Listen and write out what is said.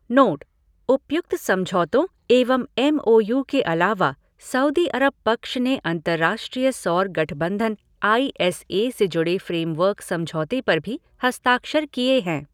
Note उपयुक्त समझौतों एवं एम ओ यू के अलावा सऊदी अरब पक्ष ने अंतर्राष्ट्रीय सौर गठबंधन आई एस ए से जुड़े फ़्रेमवर्क समझौते पर भी हस्ताक्षर किए हैं।